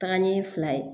Taga ɲɛ fila ye